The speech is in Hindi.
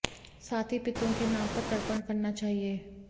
साथ ही पितरों के नाम पर तर्पण करना चाहिए